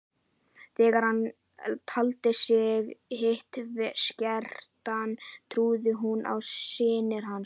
Þegar hann taldi sig vitskertan trúði hún á sýnir hans.